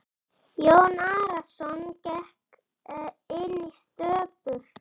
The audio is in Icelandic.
Jón Arason gekk inn í stöpul.